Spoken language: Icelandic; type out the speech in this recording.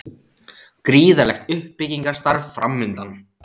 Gríðarlegt uppbyggingarstarf framundan